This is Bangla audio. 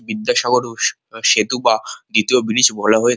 বিদ্যাসাগর ও সেতু বা দ্বিতীয় ব্রিজ বলা হয়ে।